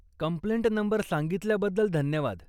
Complaint number सांगितल्याबद्दल धन्यवाद.